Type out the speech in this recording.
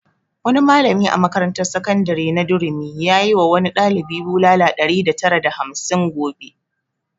Wani malami a makarantar sakandare na durumi yayi wa wani ɗalibi bulala ɗari tara da hamsin gobe